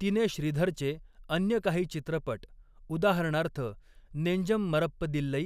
तिने श्रीधरचे अन्य काही चित्रपट, उदाहरणार्थ नेंजम मरप्पदिल्लै